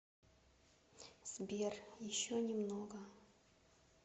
сбер еще немного